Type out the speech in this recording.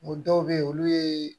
O dɔw be ye olu ye